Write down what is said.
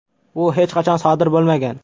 Bu hech qachon sodir bo‘lmagan.